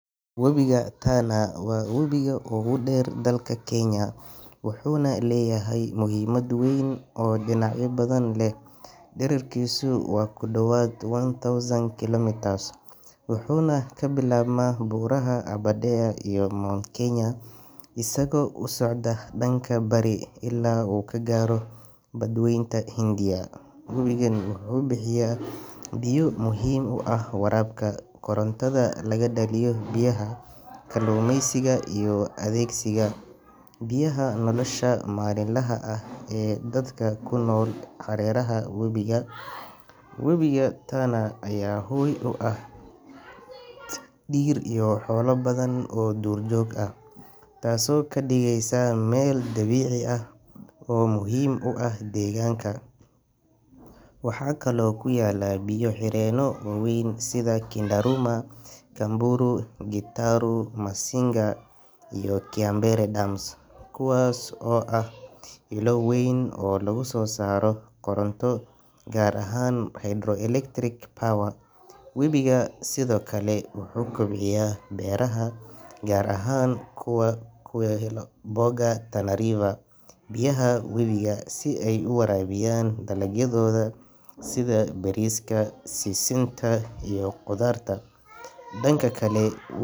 Webiga Tana waa webiga ugu dheer dalka Kenya, wuxuuna leeyahay muhiimad weyn oo dhinacyo badan leh. Dhererkiisu waa ku dhowaad one thousand kilometers wuxuuna ka bilaabmaa buuraha Aberdare iyo Mount Kenya, isagoo u socda dhanka bari ilaa uu ka gaaro Badweynta Hindiya. Webigan wuxuu bixiya biyo muhiim u ah waraabka, korontada laga dhaliyo biyaha, kalluumeysiga, iyo adeegsiga biyaha nolosha maalinlaha ah ee dadka ku nool hareeraha webiga. Webiga Tana ayaa hoy u ah dhir iyo xoolo badan oo duurjoog ah, taasoo ka dhigaysa meel dabiici ah oo muhiim u ah deegaanka. Waxaa kaloo ku yaalla biyo xireenno waaweyn sida Kindaruma, Kamburu, Gitaru, Masinga iyo Kiambere dams, kuwaas oo ah ilo weyn oo lagu soo saaro koronto gaar ahaan hydroelectric power. Webiga Tana sidoo kale wuxuu kobciyaa beeraha, gaar ahaan kuwa ku yaalla gobolka Tana River, halkaasoo dad badan ay ku tiirsan yihiin biyaha webiga si ay u waraabiyaan dalagyadooda sida bariiska, sisinta iyo khudaarta. Dhanka kale.